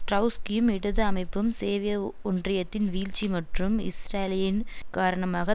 ட்ரௌஸ்கியும் இடது அமைப்பும் சேவிய ஒன்றியத்தின் வீழ்ச்சி மற்றும் இஸ்ராலியின் காரனமாக